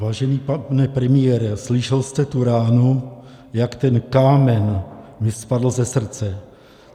Vážený pane premiére, slyšel jste tu ránu, jak ten kámen mi spadl ze srdce.